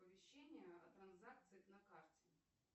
оповещения о транзакциях на карте